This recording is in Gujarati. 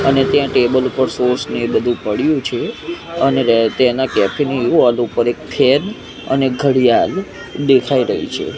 અને ત્યાં ટેબલ ઉપર સોસ ને એવુ બધું પડ્યું છે અને રે તેના કેફે ની વોલ ઉપર એક ફેન અને ઘડિયાલ દેખાય રહી છે.